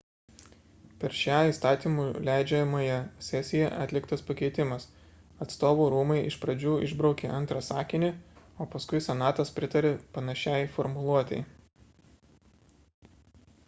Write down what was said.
per šią įstatymų leidžiamąją sesiją atliktas pakeitimas atstovų rūmai iš pradžių išbraukė antrą sakinį o paskui senatas pritarė panašiai formuluotei